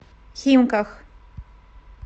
химках